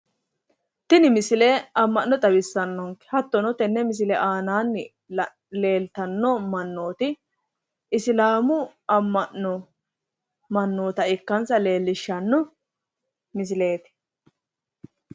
Tini misile amma'no xawissannonke hattono tenne misile aana leeltanno mannooti isilaamu amma'no mannoota ikkansa leellishshanno misileeti.